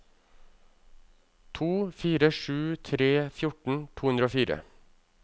to fire sju tre fjorten to hundre og fire